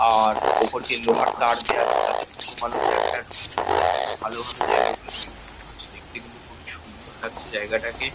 আর ওপর দিয়ে লোহার তার দেওয়া আছে। যাতে কোনো মানুষ জায়গাটায় ঢুকতে না পারে। খুবই ভালো ভাবে জায়গাগুলো মেইনটেইন করেছে। দেখতে কিন্তু খুবই সুন্দর লাগছে জায়গাটাকে।